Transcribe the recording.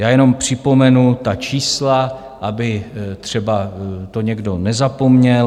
Já jenom připomenu ta čísla, aby to třeba někdo nezapomněl.